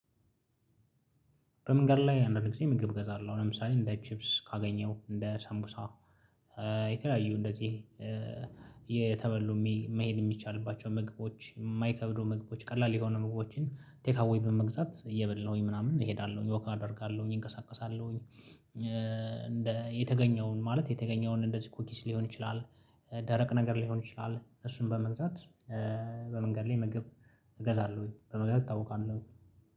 በምንገድ ላይ አንዳንድ ጊዜ ምግብ እገዛ ለው ለምሳሌ እንደ ቺፕስ ካገኘው እንደ ሳንቡሳ የተለያዩ እንደዚህ እየተበሉ መሄድ እሚቻልባቸው ምግቦች እማይከብዱ ምግቦች ቀላል የሆኑ ምግቦችን ቴክ አዌይ በመግዛት እየበላሁኝ ምናምን እሄዳለሁኝ ወክ አደርጋለሁኝ እንቀሳቀሳለሁኝ። የተገኘውን ማለት የተገኘውን እንደዚህ ኩኪስ ሊሆን ይችላል ደረቅ ነገር ሊሆን ይችላል እሱን በመግዛት። በመንገድ ላይ ምግብ እገዛለሁኝ። በመንገድ እጣውቃለሁኝ